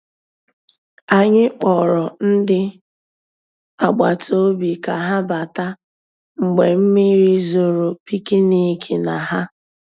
Ànyị́ kpọ̀rọ́ ndị́ àgbàtà òbí ká há batà mgbeé mmírí zòró pìkníkì ná há.